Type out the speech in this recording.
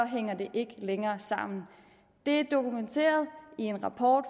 hænger det ikke længere sammen det er dokumenteret i en rapport